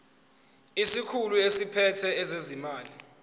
isikhulu esiphethe ezezimali